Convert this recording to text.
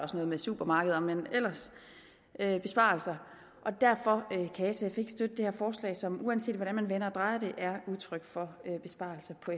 også noget med supermarkeder men ellers er det besparelser og derfor kan sf ikke støtte det her forslag som uanset hvordan man vender og drejer det er udtryk for en besparelse på